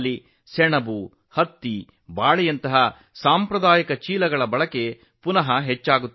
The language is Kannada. ಸೆಣಬು ಹತ್ತಿ ಬಾಳೆ ನಾರಿನಿಂದ ಮಾಡಿದ ಹಲವು ಸಾಂಪ್ರದಾಯಿಕ ಚೀಲಗಳ ಟ್ರೆಂಡ್ ಮತ್ತೊಮ್ಮೆ ಹೆಚ್ಚುತ್ತಿದೆ